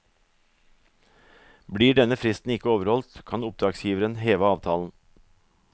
Blir denne fristen ikke overholdt, kan oppdragsgiveren heve avtalen.